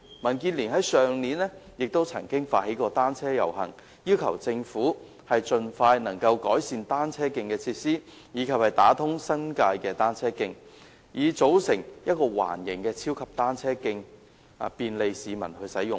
民建聯去年曾發起單車遊行，要求政府盡快改善單車徑的設施，以及打通新界的單車徑，以組成一條環形的超級單車徑，便利市民使用。